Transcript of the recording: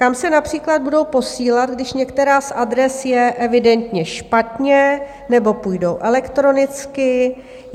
Kam se například budou posílat, když některá z adres je evidentně špatně, nebo půjdou elektronicky?